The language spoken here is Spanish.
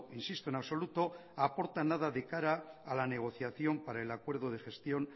nada de cara a la negociación para el acuerdo de gestión